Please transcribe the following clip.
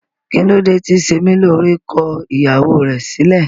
Kilode ti Semilore ko ìyàwó rẹ silẹ?